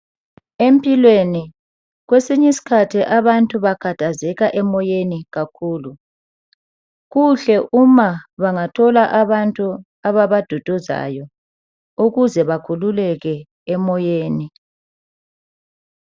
Empilweni, kwesinyi skhathi abantu bakhathazeka emoyeni kakhulu. Kuhle uma bangathola abantu ababaduduzayo ukuze bakhululeke emoyeni.